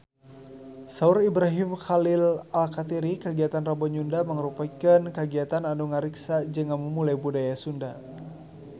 Saur Ibrahim Khalil Alkatiri kagiatan Rebo Nyunda mangrupikeun kagiatan anu ngariksa jeung ngamumule budaya Sunda